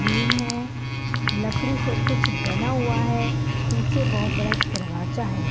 green है लकड़ी से कुछ बना हुआ है पीछे बहुत बड़ा एक दरवाजा है --